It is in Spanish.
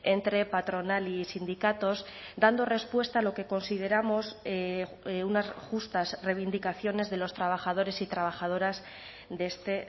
entre patronal y sindicatos dando respuesta a lo que consideramos unas justas reivindicaciones de los trabajadores y trabajadoras de este